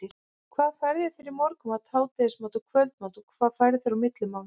hvað færðu þér í morgunmat, hádegismat og kvöldmat og hvað færðu þér á milli mála?